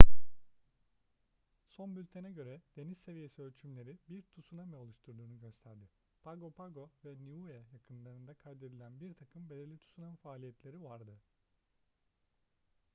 son bültene göre deniz seviyesi ölçümleri bir tsunami oluştuğunu gösterdi pago pago ve niue yakınlarında kaydedilen birtakım belirli tsunami faaliyetleri vardı